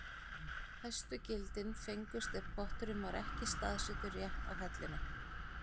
Hæstu gildin fengust ef potturinn var ekki staðsettur rétt á hellunni.